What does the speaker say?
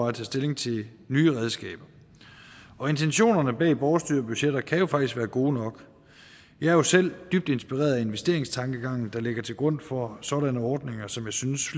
at tage stilling til nye redskaber og intentionerne bag borgerstyrede budgetter kan jo faktisk være gode nok jeg er jo selv dybt inspireret af investeringstankegangen der ligger til grund for sådanne ordninger som jeg synes